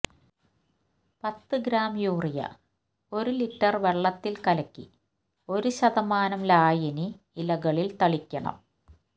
പത്ത് gram urea ഒരു litre വെള്ളത്തില് കലക്കി ഒരു ശതമാനം ലായിനി ഇലകളില് തളിക്കണം